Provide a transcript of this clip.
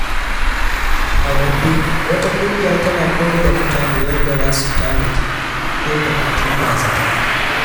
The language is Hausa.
A Gombe, wata kungiya tana koyar da mutane yadda za su tanadi don bukatun ba-zata.